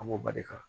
An b'o barika